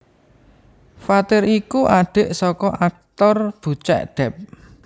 Fathir iku adhik saka aktor Bucek Depp